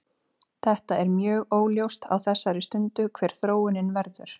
Þetta er mjög óljóst á þessari stundu hver þróunin verður.